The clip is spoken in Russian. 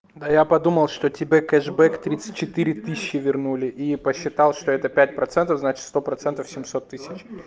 да я подумал что тебе кэшбэк тридцать четыре тысячи вернули и посчитал что это пять процентов значит сто процентов семьсот тысяч